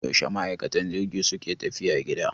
Yaushe ma'aikan jirgi suke tafiya gida?